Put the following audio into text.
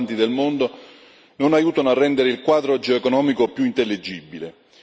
più importanti del mondo, non aiutano a rendere il quadro geoeconomico più intellegibile.